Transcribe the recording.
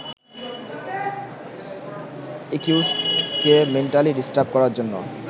একিউজডকে mentally disturb করার জন্য